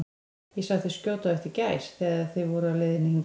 Ég sá þig skjóta á eftir gæs, þegar þið voruð á leiðinni hingað